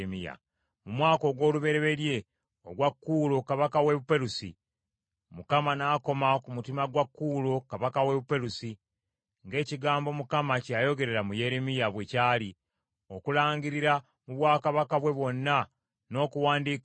Mu mwaka ogw’olubereberye ogwa Kuulo kabaka wa Buperusi, Mukama n’akoma ku mutima gwa Kuulo kabaka wa Buperusi ng’ekigambo Mukama kye yayogerera mu Yeremiya bwe kyali, okulangirira mu bwakabaka bwe bwonna, n’okuwandiika nti,